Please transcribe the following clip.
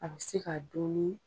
A bi se ka dun ni